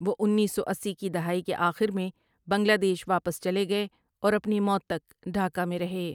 وہ انیس سو اسی کی دہائی کے آخر میں بنگلہ دیش واپس چلے گئے اور اپنی موت تک ڈھاکہ میں رہے ۔